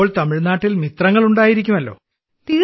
ഇപ്പോൾ തമിഴ്നാട്ടിൽ മിത്രങ്ങൾ ഉണ്ടായിരിക്കുമല്ലോ